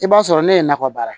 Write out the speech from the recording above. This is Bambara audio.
I b'a sɔrɔ ne ye nakɔ baara